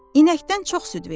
İnəkdən çox süd verir.